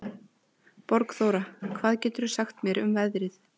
Borgþóra, hvað geturðu sagt mér um veðrið?